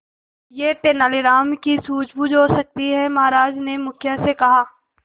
यह तेनालीराम की सूझबूझ हो सकती है महाराज ने मुखिया से कहा